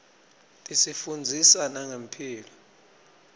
tisifundzisa nangemphilo